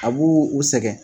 A b'u sɛgɛn